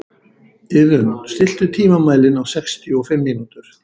Iðunn, stilltu tímamælinn á sextíu og fimm mínútur.